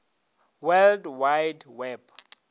world wide web